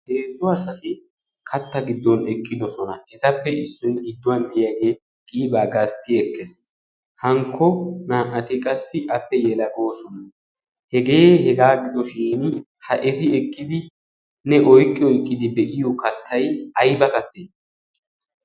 Heezzo asati katta giddon ekqidosona etappe issoi gidduwan deyaagee qiibaa gaastti ekkees hankko naa'ati qassi appe yelakoosona hegee hegaa gidoshin ha eti ekkidi nne oiqqi oiqqidi be'iyo kattai ai ba kattee?